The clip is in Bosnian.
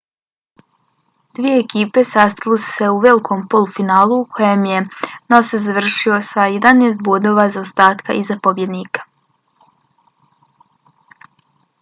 dvije ekipe sastale su se u velikom polufinalu u kojem je noosa završio sa 11 bodova zaostatka iza pobjednika